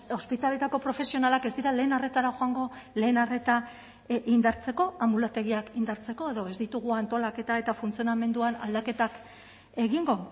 ospitaleetako profesionalak ez dira lehen arretara joango lehen arreta indartzeko anbulategiak indartzeko edo ez ditugu antolaketa eta funtzionamenduan aldaketak egingo